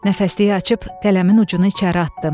Nəfəsliyi açıb qələmin ucunu içəri atdım.